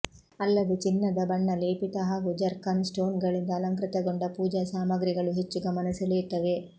ಅಲ್ಲದೆ ಚಿನ್ನದ ಬಣ್ಣ ಲೇಪಿತ ಹಾಗೂ ಜರ್ಕಾನ್ ಸ್ಟೋನ್ಗಳಿಂದ ಅಲಂಕೃತಗೊಂಡ ಪೂಜಾ ಸಾಮಗ್ರಿಗಳು ಹೆಚ್ಚು ಗಮನ ಸೆಳೆಯುತ್ತವೆ